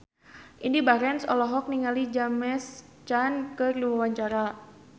Indy Barens olohok ningali James Caan keur diwawancara